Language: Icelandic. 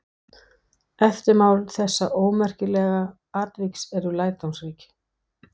Eftirmál þessa ómerkilega atviks eru lærdómsrík.